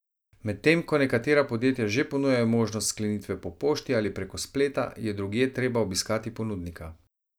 Medtem ko nekatera podjetja že ponujajo možnost sklenitve po pošti ali preko spleta, je drugje treba obiskati ponudnika.